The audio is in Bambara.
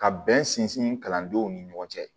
Ka bɛn sinsin kalandenw ni ɲɔgɔn cɛ